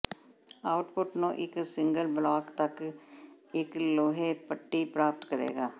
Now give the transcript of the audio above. output ਨੂੰ ਇੱਕ single block ਤੱਕ ਇੱਕ ਲੋਹੇ ਪੱਟੀ ਪ੍ਰਾਪਤ ਕਰੇਗਾ